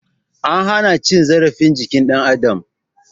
An hana cin zarafin jikin dan adam